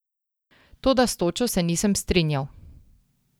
Toda s točo se nisem strinjal!